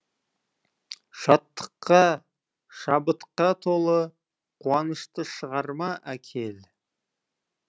шаттыққа шабытқа толы қуанышты шығарма әкел